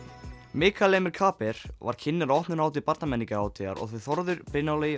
Mikael Emil Kaaber var kynnir á opnunarhátíð þau Þórður Brynjar Logi